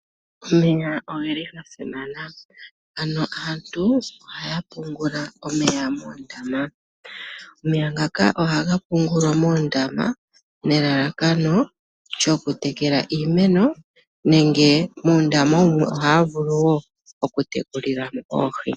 Omeya ogeli gasimana, ano aantu ohaya pungula omeya moondama. Omeya ngaka ohaga pungulwa moondama nelalakano lyokutekela iimeno nenge moondama ohaya vulu wo okutekulila mo oohi.